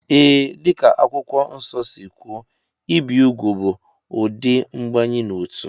Ee, dị ka Akwụkwọ Nsọ si kwuo, ibi úgwù bụ ụdị mbanye n'otu